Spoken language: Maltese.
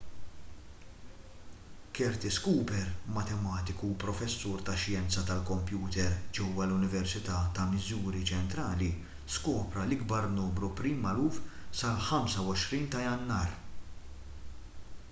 curtis cooper matematiku u professur tax-xjenza tal-kompjuter ġewwa l-università ta' missouri ċentrali skopra l-ikbar numru prim magħruf sal-25 ta' jannar